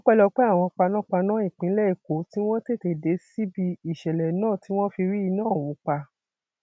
ọpẹlọpẹ àwọn panápaná ìpínlẹ èkó tí wọn tètè dé síbi ìṣẹlẹ náà tí wọn fi rí iná ọhún pa